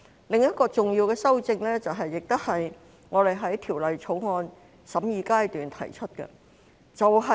另一項重要的修正案，亦是我們在《條例草案》審議階段提出的。